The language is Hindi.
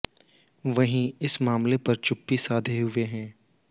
वहीं वह इस मामले पर चुप्पी साधे हुए हैं